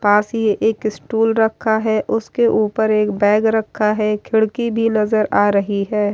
पास ही एक स्टूल रखा है उसके ऊपर एक बैग रखा है खिड़की भी नजर आ रही है।